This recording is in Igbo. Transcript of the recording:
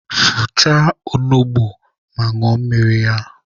Fọchaa onugbu ma ñụọ mmiri ya!